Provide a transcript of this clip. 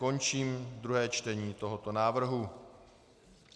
Končím druhé čtení tohoto návrhu.